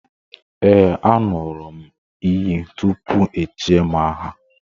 Ee, a ṅụrụ m iyi tupu echie m aha